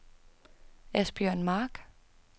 Asbjørn Mark